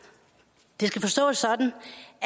skal det forstås sådan